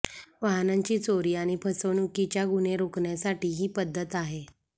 वाहनांची चोरी आणि फसवणुकीच्या गुन्हे रोखण्यासाठी ही पद्धत आहे